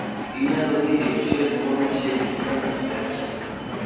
Inyalo dhi e otel moro machiegni gi kama idakie.